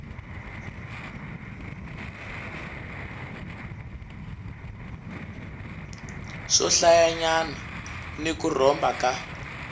swohlayanyana ni ku rhomba ka